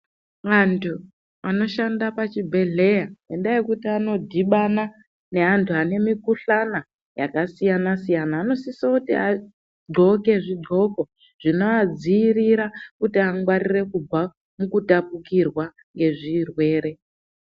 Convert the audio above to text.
Antu anoshanda pazvibhedhleya ngendaa yekuti anodhibana neantu ane mikhuhlani yakasiyana siyana anosise kuti aghloke zvighloko zvinoadziirira kuti angwarire kubva mukutapukirwa ngezvirwere .